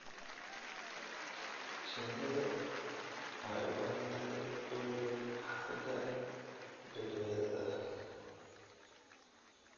Shinnidu waxay u baahan tahay welwel xagga badbaadada ah.